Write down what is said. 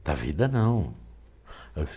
Da vida não.